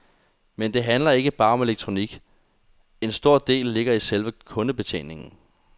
Men det handler ikke bare om elektronik, en stor del ligger i selve kundebetjeningen.